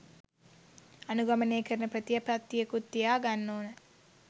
අනුගමනය කරන ප්‍රතිපත්තියකුත් තියාගන්න ඕන.